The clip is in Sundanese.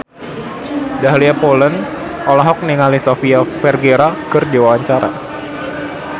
Dahlia Poland olohok ningali Sofia Vergara keur diwawancara